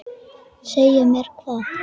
Segja mér hvað?